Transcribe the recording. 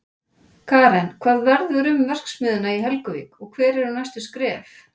Karen, hvað verður um verksmiðjuna í Helguvík og hver eru næstu skref?